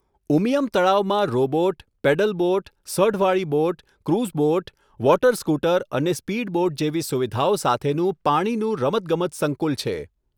ઉમિયમ તળાવમાં robot, pedal boat, સઢવાળી boat, cruise boat, water scooter અને સ્પીડ બોટ જેવી સુવિધાઓ સાથેનું પાણીનું રમતગમત સંકુલ છે.